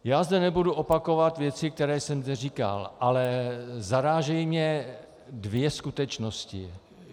Já zde nebudu opakovat věci, které jsem zde říkal, ale zarážejí mě dvě skutečnosti.